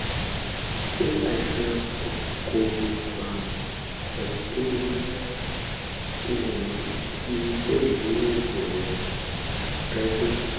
ṣé àìsàn kòkòrò àrùn àìtó omi ara lè mú kí iye sẹ́ẹ̀lì inú ẹ̀jẹ̀ rẹ rẹ dínkù?